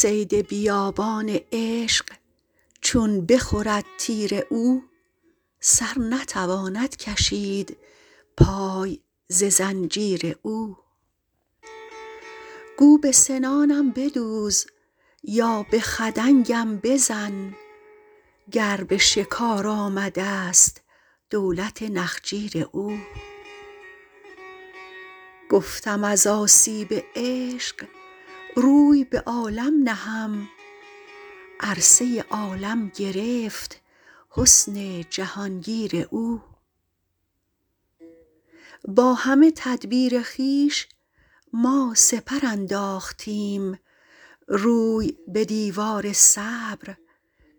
صید بیابان عشق چون بخورد تیر او سر نتواند کشید پای ز زنجیر او گو به سنانم بدوز یا به خدنگم بزن گر به شکار آمده ست دولت نخجیر او گفتم از آسیب عشق روی به عالم نهم عرصه عالم گرفت حسن جهان گیر او با همه تدبیر خویش ما سپر انداختیم روی به دیوار صبر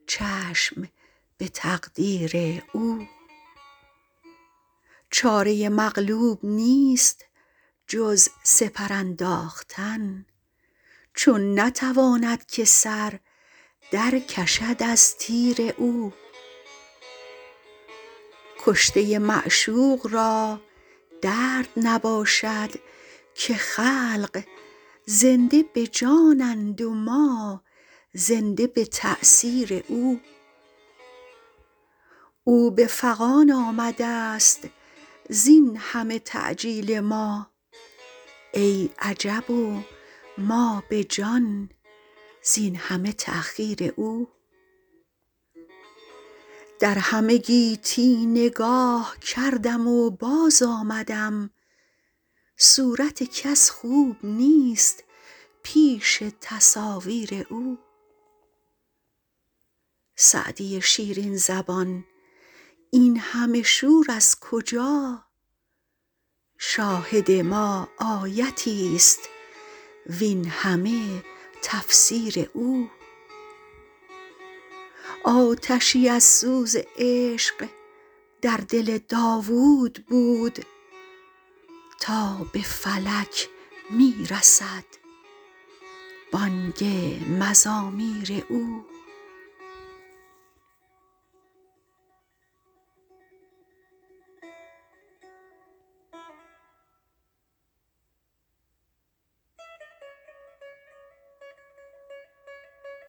چشم به تقدیر او چاره مغلوب نیست جز سپر انداختن چون نتواند که سر در کشد از تیر او کشته معشوق را درد نباشد که خلق زنده به جانند و ما زنده به تأثیر او او به فغان آمده ست زین همه تعجیل ما ای عجب و ما به جان زین همه تأخیر او در همه گیتی نگاه کردم و باز آمدم صورت کس خوب نیست پیش تصاویر او سعدی شیرین زبان این همه شور از کجا شاهد ما آیتی ست وین همه تفسیر او آتشی از سوز عشق در دل داوود بود تا به فلک می رسد بانگ مزامیر او